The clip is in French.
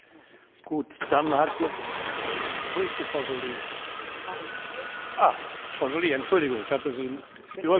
Monsieur le Président, Messieurs les Commissaires, Madame la représentante du Conseil, chers collègues, que de temps perdu!